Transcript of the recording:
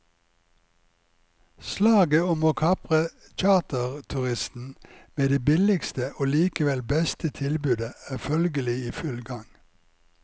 Slaget om å kapre charterturisten med det billigste og likevel beste tilbudet er følgelig i full gang.